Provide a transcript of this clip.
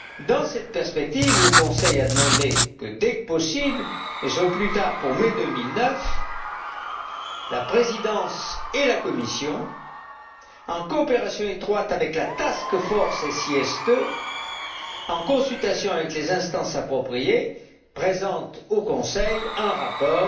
Dans cette perspective, le Conseil a demandé que, dès que possible mais au plus tard pour mai 2009, la Présidence et la Commission, en coopération étroite avec la Task force SIS II et en consultation avec les instances appropriées, présentent au Conseil un rapport